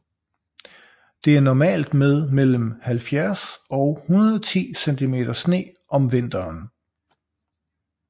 Det er normalt med mellem 70 og 110 cm sne om vinteren